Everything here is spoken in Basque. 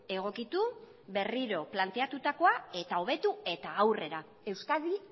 egokitu berriro planteatutakoa eta hobetu eta aurrera euskadi